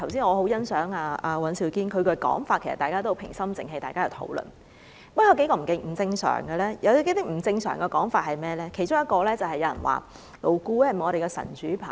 我很欣賞剛才尹兆堅議員的發言，大家是平心靜氣地討論問題，然而，討論過程中亦有一些不正常的說法，其中一個是問勞顧會是否我們的神主牌。